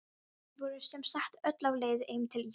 Hrói, manstu hvað verslunin hét sem við fórum í á sunnudaginn?